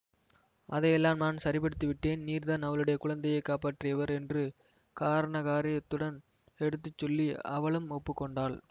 அதையெல்லாம் நான் சரிப்படுத்தி விட்டேன் நீர் தான் அவளுடைய குழந்தையை காப்பாற்றியவர் என்று காரண காரியத்துடன் எடுத்து சொல்லி அவளும் ஒப்பு கொண்டாள்